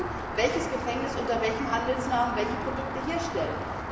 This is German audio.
Da steht drin, welches Gefängnis unter welchem Handelsnamen welche Produkte herstellt.